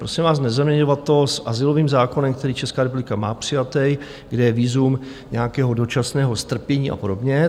Prosím vás, nezaměňovat to s azylovým zákonem, který Česká republika má přijatý, kde je vízum nějakého dočasného strpění a podobně.